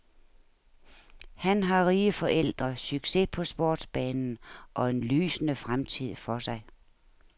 Han har rige forældre, succes på sportsbanen og en lysende fremtid for sig.